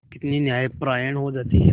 कितनी न्यायपरायण हो जाती है